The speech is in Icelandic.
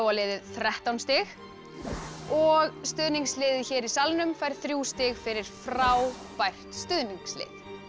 liðið þrettán stig og stuðningsliðið hér í salnum fær þrjú stig fyrir frábært stuðningslið